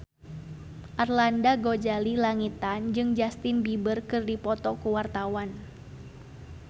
Arlanda Ghazali Langitan jeung Justin Beiber keur dipoto ku wartawan